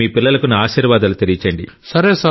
మీ పిల్లలకు నా ఆశీర్వాదాలు తెలియజేయండి